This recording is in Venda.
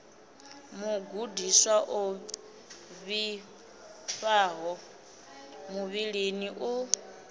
mugudiswa o vhifhaho muvhilini u